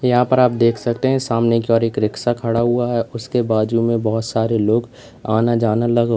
यहां पर आप देख सकते हैं सामने की और एक रिक्शा खड़ा हुआ है उसके बाजू में बहोत सारे लोग आना जाना लगा हु--